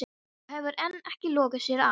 Og hefur enn ekki lokið sér af.